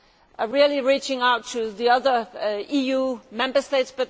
is really reaching out to the other EU Member States.